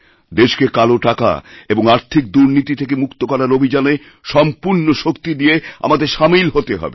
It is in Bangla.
দেশকেকালো টাকা এবং আর্থিক দুর্নীতি থেকে মুক্ত করার অভিযানে সম্পূর্ণ শক্তি দিয়েআমাদের সামিল হতে হবে